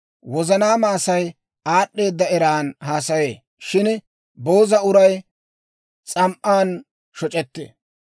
Wozanaama Asay aad'd'eeda eran haasayee; shin booza uray s'am"an shoc'ettee.